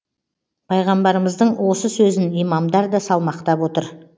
пайғамбарымыздың осы сөзін имамдар да салмақтап отыр